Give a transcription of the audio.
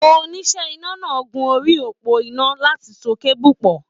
Oníṣẹ́ iná náà gun orí òpó iná láti so keebu pọ.